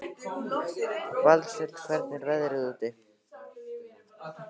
Valsteinn, hvernig er veðrið úti?